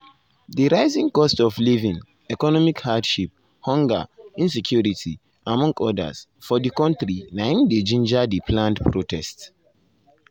di rising cost of living economic hardship hunger insecurity among odas um for di kontri na im dey ginger di planned protest.